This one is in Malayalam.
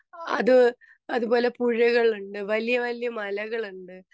സ്പീക്കർ 2 അത് അതുപോലെ പുഴകളുണ്ട് വലിയ വലിയ മലകളുണ്ട്